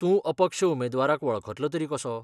तूं अपक्ष उमेदवाराक वळखतलो तरी कसो ?